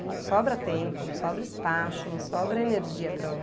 Não sobra tempo, não sobra espaço, não sobra energia para